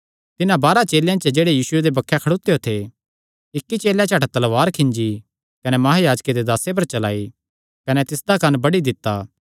तिन्हां बारांह चेलेयां च जेह्ड़े बक्खे खड़ोत्यो थे इक्की चेलैं झट तलवार खींजी कने महायाजके दे दासे पर चलाई कने तिसदा कंन्न बड्डी दित्ता